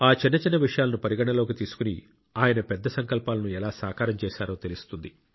ఆ చిన్న చిన్న విషయాలను పరిగణనలోకి తీసుకుని ఆయన పెద్ద సంకల్పాలను ఎలా సాకారం చేశారో తెలుస్తుంది